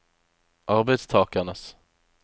arbeidstakernes